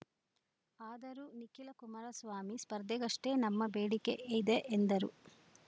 ಆದರೂ ನಿಖಿಲ ಕುಮಾರ ಸ್ವಾಮಿ ಸ್ಪರ್ಧೆಗಷ್ಟೇ ನಮ್ಮ ಬೇಡಿಕೆ ಇದೆ ಎಂದರು